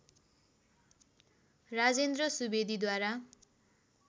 Rajendra सुवेदीद्वारा